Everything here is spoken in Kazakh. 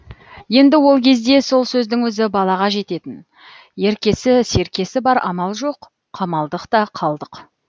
енді ол кезде сол сөздің өзі балаға жететін еркесі серкесі бар амал жоқ қамалдық та қалдық